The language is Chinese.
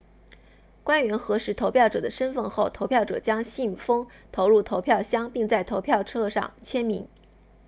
官员核实投票者的身份后投票者将信封投入投票箱并在投票册上签名